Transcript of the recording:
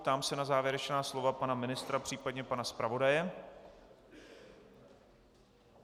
Ptám se na závěrečná slova pana ministra, případně pana zpravodaje.